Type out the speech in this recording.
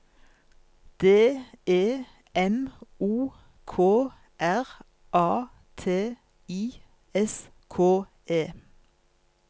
D E M O K R A T I S K E